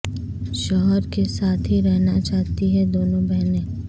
شوہر کے ساتھ ہی رہنا چاہتی ہیں دونوں بہنیں